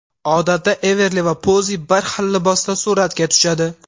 Odatda Everli va Pozi bir xil libosda suratga tushadi.